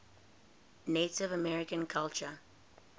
native american culture